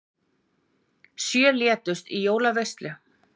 Sjö létust í jólaveislu